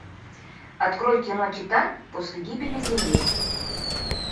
открой кино титан после гибели земли